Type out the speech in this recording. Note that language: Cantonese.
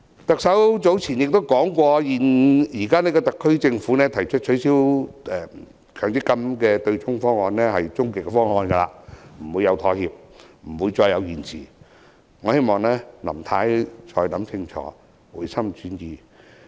特首早前曾說，現時特區政府提出的取消強積金對沖方案是終極方案，不會再妥協，不會再延遲，我希望林太可以考慮清楚，回心轉意。